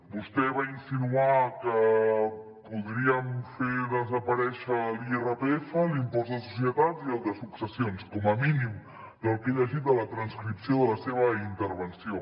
vostè va insinuar que podríem fer desaparèixer l’irpf l’impost de societats i el de successions com a mínim del que he llegit de la transcripció de la seva intervenció